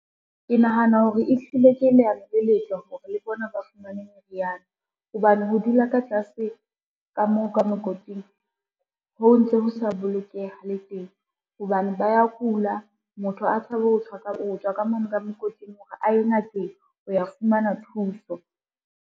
Ke nahana hore ehlile ke leano le letle hore le bona ba fumane meriana, hobane ho dula ka tlase ka moo ka mokoting ho ntso ho sa bolokeha le teng hobane ba ya kula, motho a tshabe ho tswa ka mono ka mokoting hore a ye ngakeng ho ya fumana thuso.